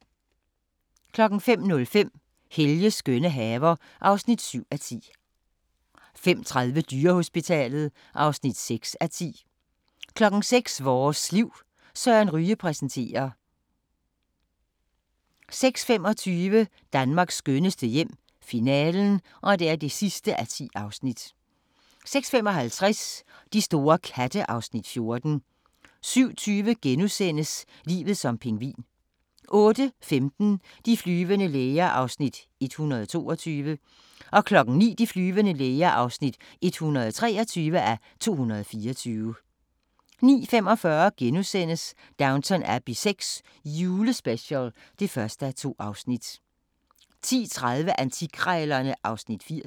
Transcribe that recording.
05:05: Helges skønne haver (7:10) 05:30: Dyrehospitalet (6:10) 06:00: Vores liv: Søren Ryge præsenterer 06:25: Danmarks skønneste hjem - finalen (10:10) 06:55: De store katte (Afs. 14) 07:20: Livet som pingvin * 08:15: De flyvende læger (122:224) 09:00: De flyvende læger (123:224) 09:45: Downton Abbey VI – julespecial (1:2)* 10:30: Antikkrejlerne (Afs. 80)